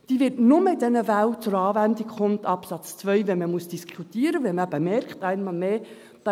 Dieser Absatz 2 wird nur in den Fällen zur Anwendung kommen, die man diskutieren muss, wenn man eben einmal mehr merkt: